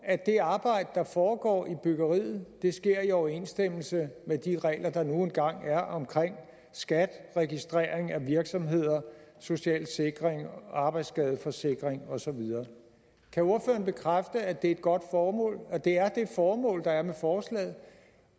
at det arbejde der foregår i byggeriet sker i overensstemmelse med de regler der nu engang er omkring skat registrering af virksomheder social sikring arbejdsskadeforsikring osv kan ordføreren bekræfte at det er et godt formål og at det er det formål der er med forslaget